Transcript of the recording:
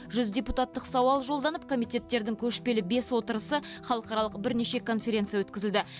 жүз депутаттық сауал жолданып комитеттердің көшпелі бес отырысы халықаралық бірнеше конференция өткізілді